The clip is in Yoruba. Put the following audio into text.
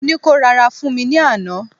mo ni ko rara fún mi ni Ana